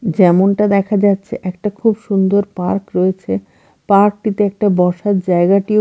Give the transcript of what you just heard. যেমনটা দেখা যাচ্ছে একটা খুব সুন্দর পার্ক রয়েছে পার্ক -টিতে একটা বসার জায়গাটিও--